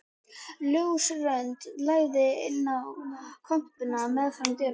Ljósrönd lagði inn í kompuna meðfram dyrunum.